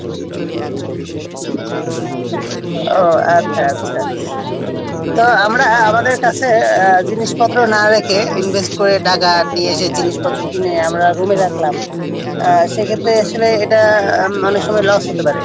ওহ আচ্ছা আচ্ছা তো আমরা আমাদের কাছে যে জিনিসপত্র না রেখে ইনভেস্ট করে টাকা নিয়ে এসে জিনিসপত্র কিনে আমরা রুমে রাখলাম সেক্ষেত্রে আসলে এটা অনেকসময় লস হতে পারে